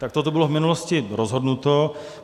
Takto to bylo v minulosti rozhodnuto.